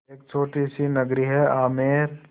एक छोटी सी नगरी है आमेर